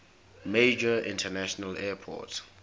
major international airport